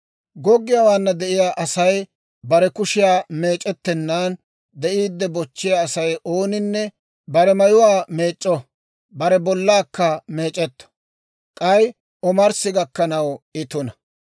« ‹Goggiyaawaana de'iyaa Asay bare kushiyaa meec'ettennaan de'iidde bochchiyaa Asay ooninne bare mayuwaa meec'c'o; bare bollaakka meec'etto; k'ay omarssi gakkanaw I tuna.